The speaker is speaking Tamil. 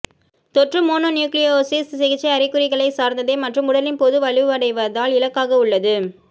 தொற்று மோனோநியூக்ளியோசிஸ் சிகிச்சை அறிகுறிகளைச் சார்ந்ததே மற்றும் உடலின் பொது வலுவடைவதால் இலக்காக உள்ளது